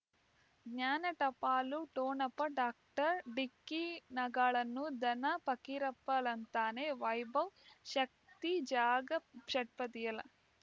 ಜ್ಞಾನ ಟಪಾಲು ಠೊಣಪ ಡಾಕ್ಟರ್ ಢಿಕ್ಕಿ ಣಗಳನು ಧನ ಪಕೀರಪ್ಪ ಳಂತಾನೆ ವೈಭವ್ ಶಕ್ತಿ ಜಾಗಾ ಷಟ್ಪದಿಯಲ